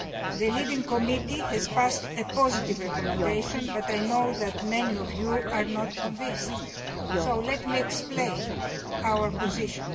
The lead committee has adopted a positive recommendation, but I know that many of you are not convinced, so let me explain our position.